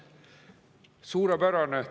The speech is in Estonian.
Suurepärane!